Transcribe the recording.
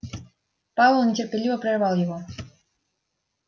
пауэлл нетерпеливо прервал его